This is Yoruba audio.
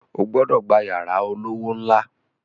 O gbọ́dọ̀ gba yàrá olówó ńlá